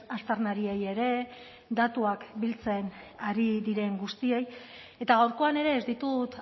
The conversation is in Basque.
aztarnariei ere datuak biltzen ari diren guztiei eta gaurkoan ere ez ditut